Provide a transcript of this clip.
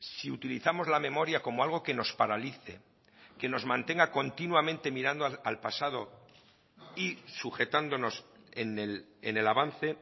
si utilizamos la memoria como algo que nos paralice que nos mantenga continuamente mirando al pasado y sujetándonos en el avance